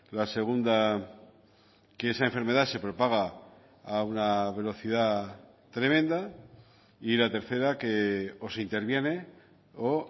la segunda que esa enfermedad se propaga a una velocidad tremenda y la tercera que o se interviene o